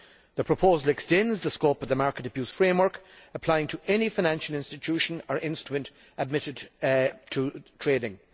The proposal extends the scope of the market abuse framework, applying to any financial institution or instrument admitted to trading.